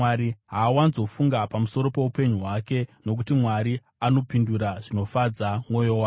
Haawanzofunga pamusoro poupenyu hwake, nokuti Mwari anopindura zvinofadza mwoyo wake.